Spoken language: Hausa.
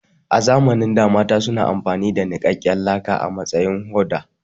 A lokacin da mata suna amfani da niƙaƙƙen laka a matsayin hoda